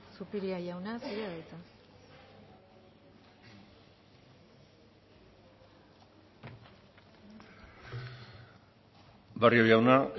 zupiria jauna zurea da hitza barrio jauna